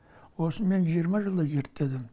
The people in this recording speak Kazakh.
осыны мен жиырма жылдай зерттедім